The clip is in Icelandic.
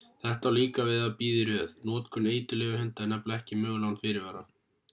þetta á líka við að bíða í röð notkun eiturlyfjahunda er nefnilega ekki möguleg án fyrirvara